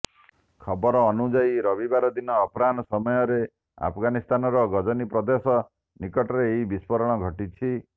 ଖବର ଅନୁଯାୟୀ ରବିବାର ଦିନ ଅପରାହ୍ନ ସମୟରେ ଆଫଗାନିସ୍ତାନର ଗଜନି ପ୍ରଦେଶ ନିକଟରେ ଏହି ବିସ୍ଫୋରଣ ଘଟିଛି